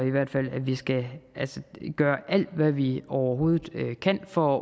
at vi skal gøre alt hvad vi overhovedet kan for